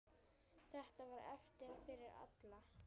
Þetta var erfitt fyrir alla.